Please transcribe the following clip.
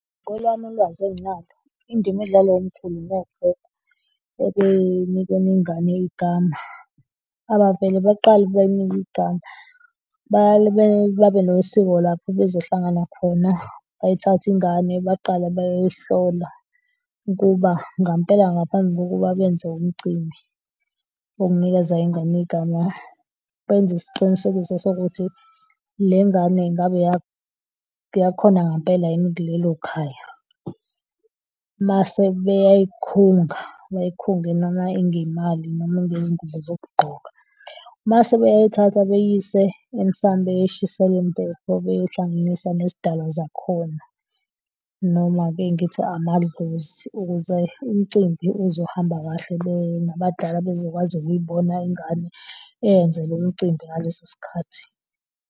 Ngolwami ulwazi enginalo indima edlalwa omkhulu nogogo ekunikeni ingane igama abavele baqale bayinike igama, baye babe nosiko lapho bezohlangana khona bayithathe ingane, baqala bayoyihlola ukuba ngempela, ngaphambi kokuba benze umcimbi wokunikeza ingane igama benze isiqinisekiso sokuthi le ngane ngabe eyakhona ngempela yini kulelo khaya mase bekunga bekungena manginemali noma iyingubo zokugqoka. Mase bayayithatha beyise emsamo beyoyishisela impepho, beyoyihlanganisa nezidalwa zakhona. Noma-ke ngithi amadlozi, ukuze umcimbi uzohamba kahle, benabadala bezokwazi ukuyibona ingane eyenzelwa umcimbi ngaleso sikhathi.